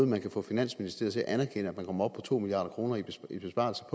man kan få finansministeriet til at anerkende at man kommer op på to milliard kroner i besparelse